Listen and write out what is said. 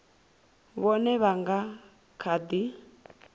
vhone vha nga kha ḓi